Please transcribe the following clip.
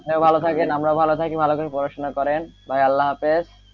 আপনি ভালো থাকেন আমরাও ভালো থাকি ভালো করে পড়াশোনা মনে করেন, ভাই আল্লাহহাফেজ,